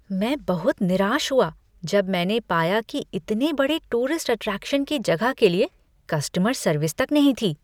मैं बहुत निराश हुआ जब मैंने पाया कि इतने बड़े टूरिस्ट अट्रैक्शन की जगह के लिए कस्टमर सर्विस तक नहीं थी।